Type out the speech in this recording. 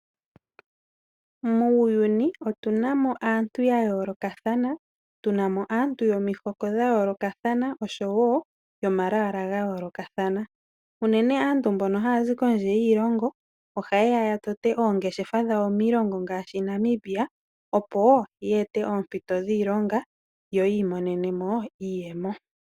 Muuyuni otuna mo aantu ya yoolokathana . Otuna mo aantu yomihoko dha yoolokathana osho woo yomalwaala ga yoolokathana. Unene aantu mbono haya zi kondje yiilongo ohaye ya ya tote oongeshefa dhawo miilongo ngaashi Namibia opo ye ete oompito dhiilonga yo yi imonene iiyemo.